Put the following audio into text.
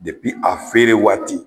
a feere waati